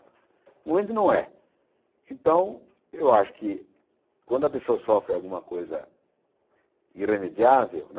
No momento não é. Então eu acho que quando a pessoa sofre alguma coisa irremediável, né?